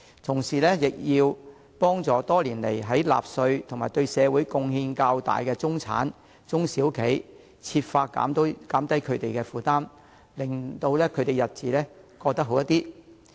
此外，政府應幫助多年來納稅較多及對社會貢獻較大的中產及中小型企業，設法減低他們的負擔，令他們的日子好過一些。